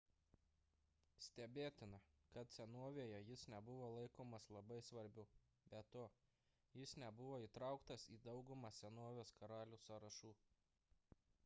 stebėtina kad senovėje jis nebuvo laikomas labai svarbiu be to jis nebuvo įtrauktas į daugumą senovės karalių sąrašų